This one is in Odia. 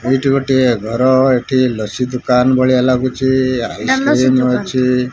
ଏଇଠି ଗୋଟିଏ ଘର ଏଠି ଲସି ଦୁକାନ ଭଳିଆ ଲାଗୁଛି ଆଇସକ୍ରିମ ଅଛି।